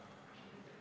Lugupeetud ettekandja!